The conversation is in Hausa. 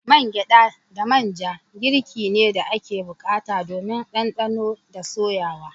Man gyada da man ja girki ne da ake bukata domin dandano da soyawa.